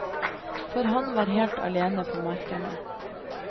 For han var helt alene ute på markene.